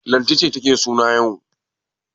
Lanti ce take suna yau.